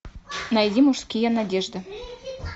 найди мужские надежды